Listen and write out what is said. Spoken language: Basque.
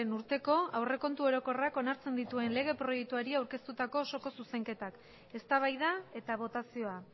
urteko aurrekontu orokorrak onartzen dituen lege proiektuari aurkeztutako osoko zuzenketak eztabaida eta botazioa